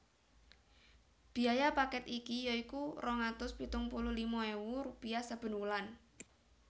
Biaya paket iki ya iku rong atus pitung puluh lima ewu rupiah saben wulan